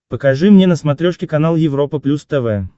покажи мне на смотрешке канал европа плюс тв